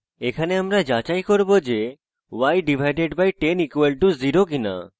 এখানে আমরা যাচাই করব y/10 = 0 কিনা